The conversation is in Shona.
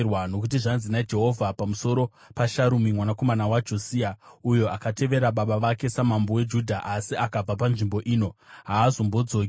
Nokuti zvanzi naJehovha pamusoro paSharumi mwanakomana waJosia, uyo akatevera Baba vake samambo weJudha asi akabva panzvimbo ino: “Haazombodzoki.